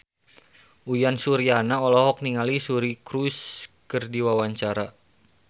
Uyan Suryana olohok ningali Suri Cruise keur diwawancara